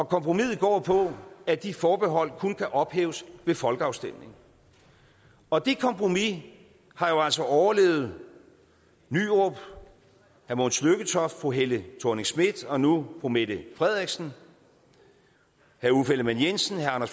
kompromisset går på at de forbehold kun kan ophæves ved folkeafstemning og det kompromis har altså overlevet nyrup mogens lykketoft fru helle thorning schmidt og nu fru mette frederiksen herre uffe elleman jensen herre